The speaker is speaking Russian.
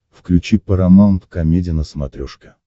включи парамаунт комеди на смотрешке